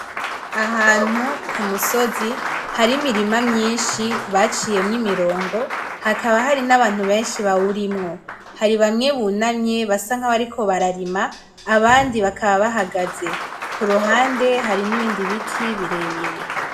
Ahantu k'umusozi har'imirima myinshi baciyemwo imirongo hakaba hari n'abantu benshi bawurimwo hari bamwe bunamye basa nabariko bararima abandi bakaba bahagaze, kuruhande hari nibindi biti birebire.